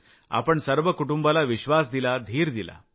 आपण सर्व कुटुंबाला विश्वास दिला धीर दिला